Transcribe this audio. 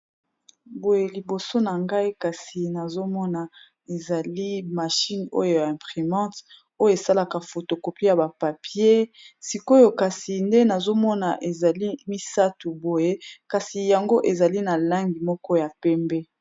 boye liboso na ngai kasi nazomona ezali machine oyo ya imprimante oyo esalaka fotokopi ya bapapier sikoyo kasi nde nazomona ezali misatu boye kasi yango ezali na langi moko ya pembe